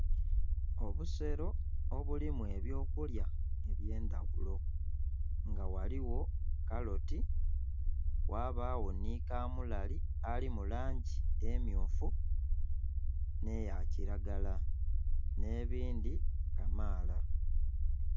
Obusero obulimu eby'okulya eby'endhaghulo; nga ghaligho karoti, ghabagho nhi kamulali ali mu langi emmyufu nh'eya kilagala, nh'ebindhi kamaala.